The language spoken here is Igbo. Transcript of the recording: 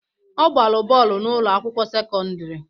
Ọ gbara bọọlụ n'ụlọ akwụkwọ sekọndrị